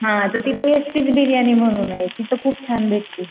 तर तिथं बिर्याणी म्हणूनय तिथं खूप छान भेटती.